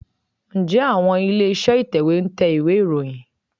Ǹjẹ́ àwọn ilé-iṣẹ́ ìtẹ̀wé ń tẹ ìwé ìròyìn?